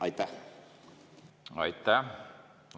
Aitäh!